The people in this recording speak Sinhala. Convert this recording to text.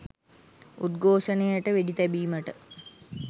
උද්ඝෝෂණයට වෙඩි තැබීමට